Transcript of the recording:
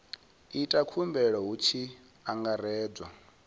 ita khumbelo hu tshi angaredzwa